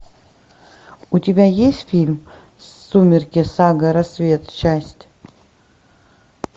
у тебя есть фильм сумерки сага рассвет часть